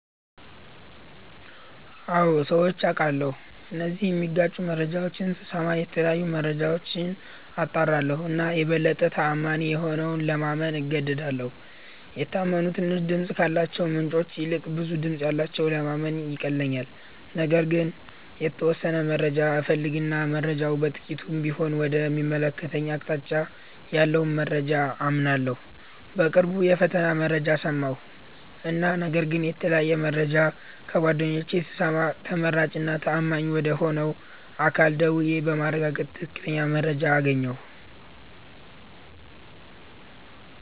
አዎ ሠምቼ አቃለሁ እነዚህን ሚጋጩ መረጃዎች ስስማ የተለያዩ መረጃዎች አጣራለሁ እና የበለጠ ተአማኒ የሆነውን ለማመን እገደዳለሁ። የታመኑ ትንሽ ድምፅ ካላቸው ምንጮች ይልቅ ብዙ ድምጽ ያለውን ለማመን ይቀለኛል። ነገር ግን የተወሠነ መረጃ እፈልግ እና መረጃው በጥቂቱም ቢሆን ወደ ሚያመለክተኝ አቅጣጫ ያለውን መረጃ አምናለሁ። በቅርቡ የፈተና መረጃ ሠማሁ እና ነገር ግን የተለያየ መረጃ ከጓደኞቼ ስሰማ ተመራጭ እና ተአማኝ ወደ ሆነ አካል ደውዬ በማረጋገጥ ትክክለኛ መረጃ አገኘሁ።